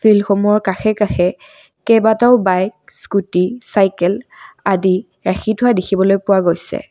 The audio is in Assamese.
ফিল্ড সমূহৰ কাষে কাষে কেইবাটাও বাইক স্কুটী চাইকেল আদি ৰাখি থোৱা দেখিবলৈ পোৱা গৈছে।